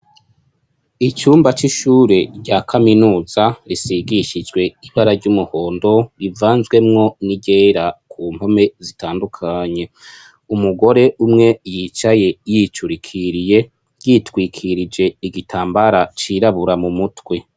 Icumba c'ishure rya Kaminuza risigishijwe ibara ry'umuhondo rivanzwemwo n'iryera ku mpome zitandukanye. Umugore umwe yicaye yicurikiriye, yitwikirije igitambara cirabura mu mutwe.